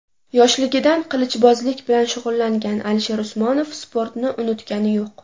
Yoshligidan qilichbozlik bilan shug‘ullangan Alisher Usmonov sportni unutgani yo‘q.